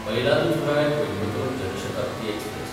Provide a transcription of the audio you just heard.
Mayiladuthurai Coimbatore Jan Shatabdi express